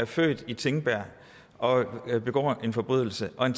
født i tingbjerg og begå en forbrydelse og